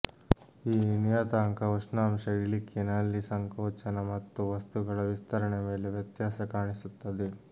ಈ ನಿಯತಾಂಕ ಉಷ್ಣಾಂಶ ಇಳಿಕೆ ನಲ್ಲಿ ಸಂಕೋಚನ ಮತ್ತು ವಸ್ತುಗಳ ವಿಸ್ತರಣೆ ಮೇಲೆ ವ್ಯತ್ಯಾಸ ಕಾಣಿಸುತ್ತದೆ